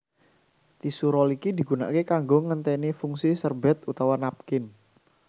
Tisu roll iki digunaké kanggo nggenténi fungsi serbét utawa napkin